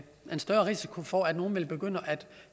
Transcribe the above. større risiko for at nogle vil begynde